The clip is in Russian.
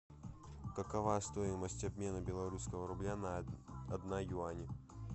какова стоимость обмена белорусского рубля на один юань